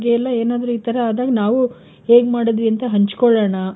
ಎಲ್ಲ ಏನಾದ್ರು ಈ ತರ ಆದಾಗ ನಾವು ಹೇಗ್ ಮಾಡುದ್ವಿ ಅಂತ ಹಂಚ್ ಕೊಳ್ಳೋಣ.